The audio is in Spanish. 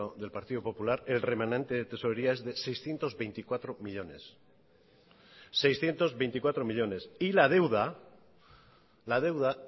del partido popular el remanente de tesorería es de seiscientos veinticuatro millónes y la deuda